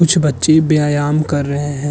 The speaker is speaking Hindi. कुछ बच्चे व्यायाम कर रहे हैं।